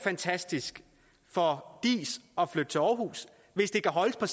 fantastisk for diis at flytte til aarhus hvis det kan holdes på